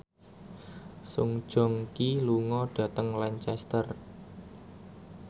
Song Joong Ki lunga dhateng Lancaster